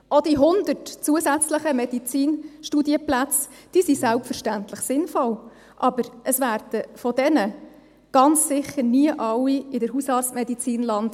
Auch die 100 zusätzlichen Medizinstudienplätze sind selbstverständlich sinnvoll, aber von diesen Leuten werden ganz sicher nie alle in der Hausarztmedizin landen;